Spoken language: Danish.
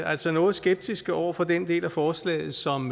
altså noget skeptiske over for den del af forslaget som